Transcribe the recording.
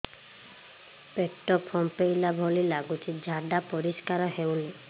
ପେଟ ଫମ୍ପେଇଲା ଭଳି ଲାଗୁଛି ଝାଡା ପରିସ୍କାର ହେଉନି